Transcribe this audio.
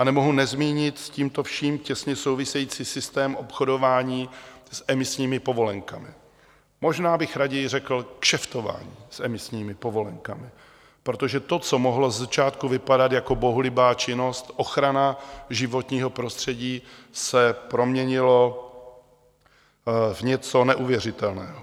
A nemohu nezmínit s tímto vším těsně související systém obchodování s emisními povolenkami, možná bych raději řekl kšeftování s emisními povolenkami, protože to, co mohlo ze začátku vypadat jako bohulibá činnost, ochrana životního prostředí, se proměnilo v něco neuvěřitelného.